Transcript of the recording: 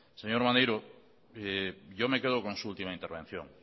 señor maneiro yo me quedo con su última intervención